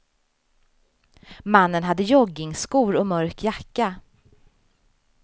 Mannen hade joggingskor och mörk jacka.